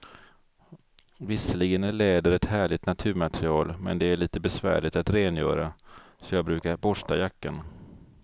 Visserligen är läder ett härligt naturmaterial, men det är lite besvärligt att rengöra, så jag brukar borsta jackan.